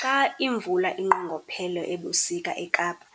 Xa imvula inqongophele ebusika eKapa,